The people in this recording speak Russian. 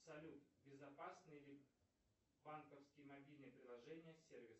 салют безопасны ли банковские мобильные приложения сервис